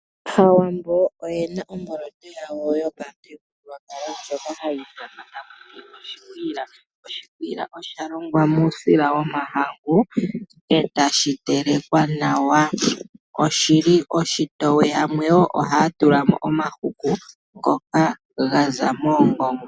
Aawambo oyena omboloto yawo yopamuthigululwakalo ndjoka hayi ithanwa taku ti oshikwiila. Oshikwiila osha longwa muusila womahangu etashi telekwa nawa. Oshili oshitoye, yamwe wo ohaya tula mo omahuku ngoka gaza moongongo.